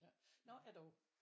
Nåh er du